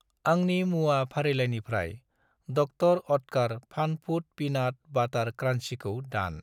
आंनि मुवा फारिलाइनिफ्राय डक्तर अत्कार फान फुड पिनाट बाटार क्रान्सिखौ दान।